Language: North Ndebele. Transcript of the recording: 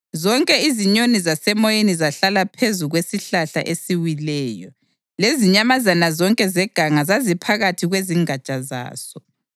Zonke izinyoni zasemoyeni zahlala phezu kwesihlahla esiwileyo, lezinyamazana zonke zeganga zaziphakathi kwezingatsha zaso.